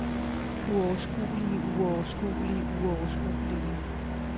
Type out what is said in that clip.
uoverskuelige uoverskuelige uoverskuelige